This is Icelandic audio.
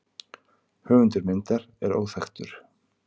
Höfundur myndar er óþekktur.